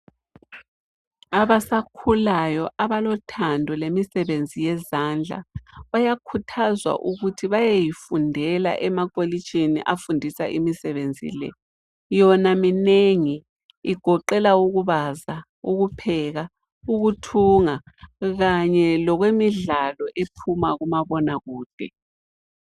Abasakhulayo abalothando lemisebenzi yezandla bayakhuthazwa ukuthi bayeyifundela emakolitshini afundisa imisebenzi le ,yona minengi igoqela ukubaza, ukupheka, ukuthunga kanye lokwemidlalo ephuma kumabona kude.